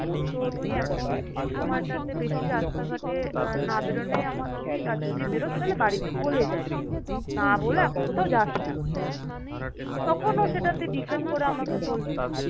তো তুই এখন এই সময়টা তে বেশি রাস্তাঘাটে না বেরোনোই আমার উচিত। আর যদি বেরোস তাহলে বাড়িতে বলে যাবি। না বলে এখন কোথাও যাস না। তখন ও সেটাতে defend করে আমাকে বলছে,